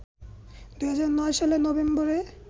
২০০৯ সালের নভেম্বরে